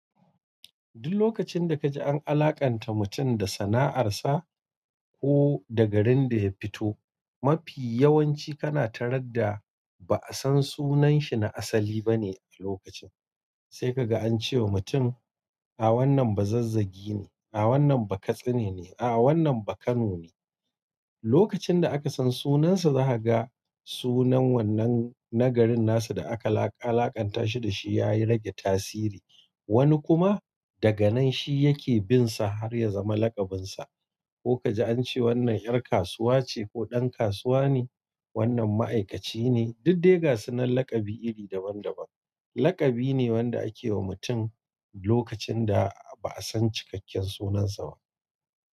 Duk lokacinda kaji an alaƙanta mutum da sana'arsa, ko da garin da ya fito, mafi yawanci kana taradda ba'a san sunanshi na asali bane a lokacin. Sai kaga ance wa mutum, a wannan bazazzagi ne, a wannan bakatsi ne, a wannan bakano ne. Lokacinda akasan sunansa, za kaga sunan wannan na garin nasa da aka alakanta shi dashi yayi rage tasiri. Wani kuma daganan shi yake binsa harya zama laƙabinsa. Ko kaji ance wannan ƴar kasuwa ce ko ɗan kasuwa ne, wannan ma'aikaci ne. Dudde ga sunan laƙabi iri daban-daban. Laƙabi ne wanda akewa mutum lokacinda ba'a san cikakken sunansa ba.